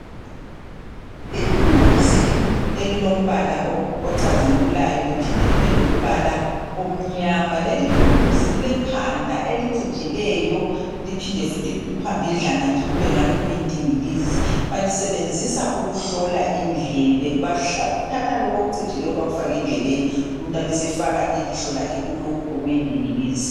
Ithuluzi elilombala ocazimulayo liphinde libelombala omnyama. Lelithuluzi lilekhanda elicijileyo liphide futhi phambidlana nje kube ngani kuyindingilizi. Balisebenzisa ukuhlola indlebe, bathatha lokhu okucijileyo bakufake endlebeni umuntu abesefaka ilihlo lakhe kulokhu okuyindingilizi